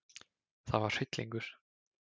Það var hryllingur.